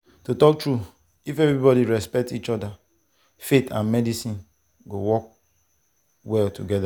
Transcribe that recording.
to talk true if everybody respect each other faith and medicine go work well together.